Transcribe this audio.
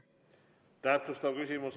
Täpsustav küsimus.